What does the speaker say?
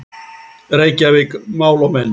Reykjavík, Mál og Menning.